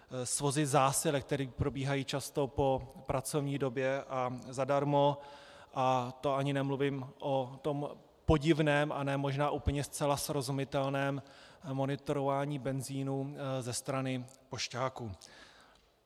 Svozy zásilek, které probíhají často po pracovní době a zadarmo, a to ani nemluvím o tom podivném a ne možná úplně zcela srozumitelném monitorování benzinu ze strany pošťáků.